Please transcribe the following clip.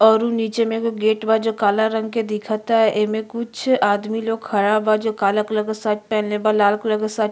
औरउ नीचे में गेट बा जो काला रंग के दिखता एमे कुछ आदमी लोग खड़ा बा जो काला कलर के शर्ट पहीनले बा लाल कलर शर्ट --